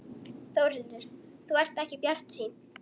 Þórhildur: Þú ert ekki bjartsýnn?